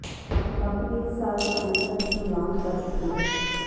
company ਇਸ ਸਾਲ ਦੇ ਅੰਤ ਤੱਕ ਇਸਨੂੰ ਲਾਂਚ ਕਰ ਸਕਦੀ ਹੈ